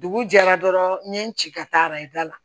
Dugu jɛra dɔrɔn n ye n ci ka taa arajo la